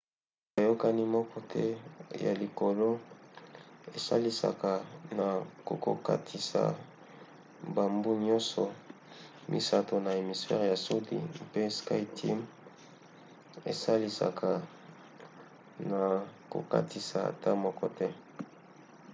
boyokani moko te ya likolo esalisaka na kokokatisa bambu nyonso misato na hémisphère ya sudi mpe skyteam esalisaka na kokatisa ata moko te